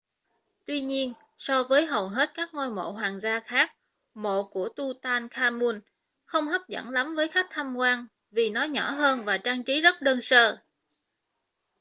tuy nhiên so với hầu hết các ngôi mộ hoàng gia khác mộ của tutankhamun không hấp dẫn lắm với khách tham quan vì nó nhỏ hơn và trang trí rất đơn sơ